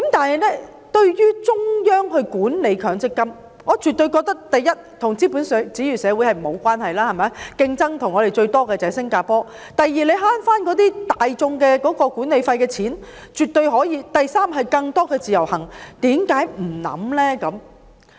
然而，對於中央管理強積金，我絕對認為：第一，與是否資本主義社會無關，我們的最大競爭對手新加坡也這樣做；第二，市民可以節省大筆管理費；第三，容許更多的"自由行"；為何不考慮呢？